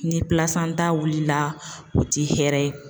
Ni wilila o ti hɛrɛ ye